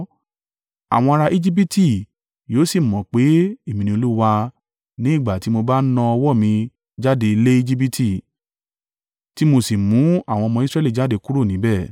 Àwọn ará Ejibiti yóò sì mọ̀ pé Èmi ni Olúwa ní ìgbà tí mo bá na ọwọ́ mi jáde lé Ejibiti, tí mo sì mú àwọn ọmọ Israẹli jáde kúrò níbẹ̀.”